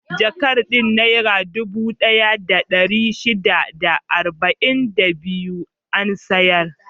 Jakar din Nera dubu ɗaya da ɗari shida da arba'in da biyu an siyar.